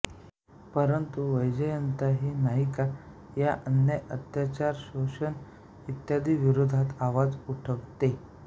परंतु वैजयंता ही नायिका या अन्याय अत्याचार शोषण इत्यादी विरोधात आवाज उठवते